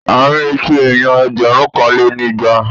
À ń retí èèyàn ẹgbẹ̀rúnkanlénígba